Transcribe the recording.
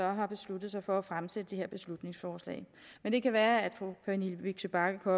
har besluttet sig for at fremsætte det her beslutningsforslag men det kan være at fru pernille vigsø bagge